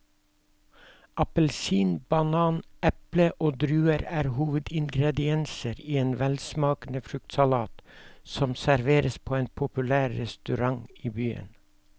Appelsin, banan, eple og druer er hovedingredienser i en velsmakende fruktsalat som serveres på en populær restaurant i byen.